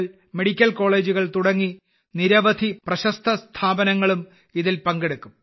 കൾ മെഡിക്കൽ കോളേജുകൾ തുടങ്ങിയ നിരവധി പ്രശസ്ത സ്ഥാപനങ്ങളും ഇതിൽ പങ്കെടുക്കും